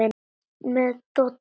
Með Dodda?